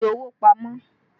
Fi owó pamọ́!